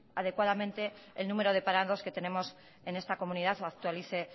adecuadamente el número de parados que tenemos en esta comunidad o actualice